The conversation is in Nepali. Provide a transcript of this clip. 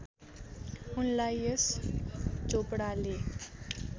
उनलाई यश चोपडाले